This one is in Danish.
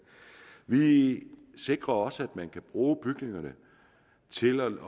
vi sikrer også at man kan bruge bygningerne til